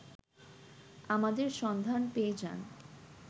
আমাদের সন্ধান পেয়ে যান